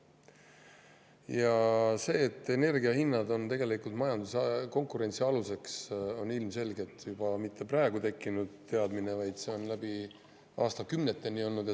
Ja see, et energia hinnad on majanduse konkurentsi aluseks, ilmselgelt ei ole mitte praegu tekkinud teadmine, vaid see on aastakümnete jooksul nii olnud.